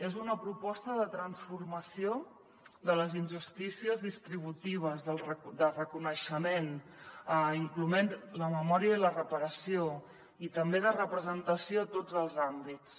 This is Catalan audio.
és una proposta de transformació de les injustícies distributives de reconeixement inclosa la memòria i la reparació i també de representació a tots els àmbits